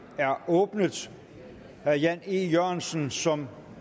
er åbnet herre jan e jørgensen som